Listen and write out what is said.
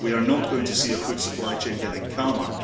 We are not going to see our food supply chain getting calmer.